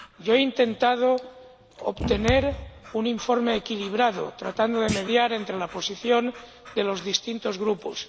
Yo he intentado obtener un informe equilibrado, tratando de mediar entre la posición de los distintos grupos.